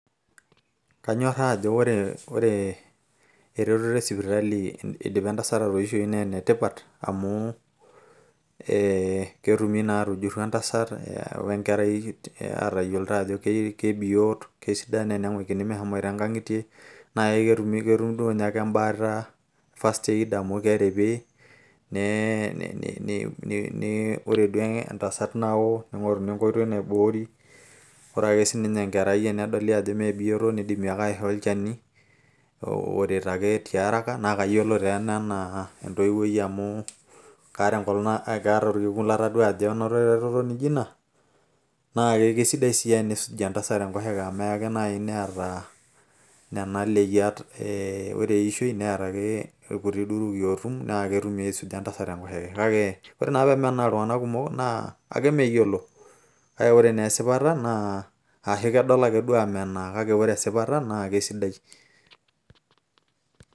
kanyoraa ajo ore, eretoto esipitali naa enetipat, amu ketumokini aatujuru entasat we nkerai aatayioloito ajo kebiyot. neeku mesidai naa teneng'uikini meshomoito nkang'itie, naa ketum ebaata ana first-aid amu keripi. ore duoo entasat naoo. ning'oruni enkoitoi naiboori. ore sii ninye enkerai tenedoli ajo mme bioto, neidimi ake aishoo olchani, oret ake tiaraka, naa kayiolo taa ena anaa entowuoi, amu kaatae orkekun nanoto eretoto naijo ina. naa kidimi aateen entasat enkoshoke. naaji teneeta nena leyiat. kake kemenaa iltunganak kumok kake kesidai.